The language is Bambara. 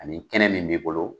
Ani kɛnɛ min b'i bolo